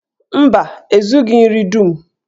Mba, e zughi nri dum.